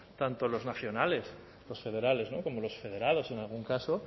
tanto los nacionales los federales como los federados en algún caso